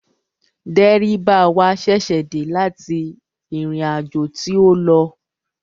Dẹ́ríbà wa ṣẹ̀ṣẹ̀ dé láti ìrìnàjò tí ó lọ